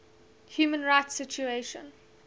human rights situation